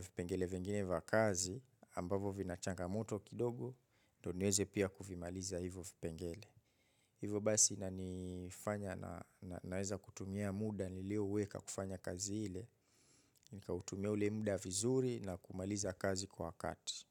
vipengele vingine vakazi ambavo vinachanga moto kidogo ndo niweze pia kufimaliza hivo vipengele. Hivo basi na nifanya na nareza kutumia muda nilio uweka kufanya kazi hile. Nika utumia ule muda vizuri na kumaliza kazi kwa kati.